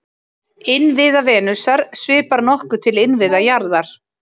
Innviða Venusar svipar nokkuð til innviða jarðar.